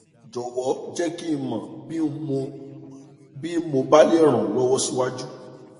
jọwọ jẹ kí ń mọ bí ń mọ bí mo bá lè ràn ọ lọwọ síwájú